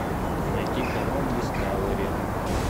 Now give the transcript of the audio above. найти канал дискавери